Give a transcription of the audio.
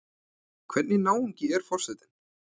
Hvernig náungi er forsetinn?